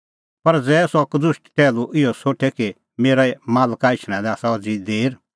पर ज़ै सह कदुष्ट टैहलू इहअ सोठे कि मेरै मालका एछणा लै आसा अज़ी देर